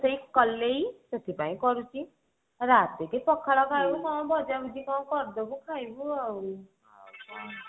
ରୋଷେଇ କଲେଇ ହିଁ ସେଥିପାଇଁ କରୁଛି ରାତିକି ପଖାଳ ଭଜା ଭଜି କଣ କରିଦେବି ଖାଇବୁ ଆଉ ଆଉ କଣ